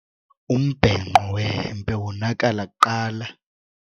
Umbhenqo wehempe wonakala kuqala.